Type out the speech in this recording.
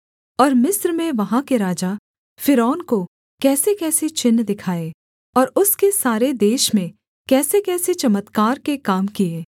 और मिस्र में वहाँ के राजा फ़िरौन को कैसेकैसे चिन्ह दिखाए और उसके सारे देश में कैसेकैसे चमत्कार के काम किए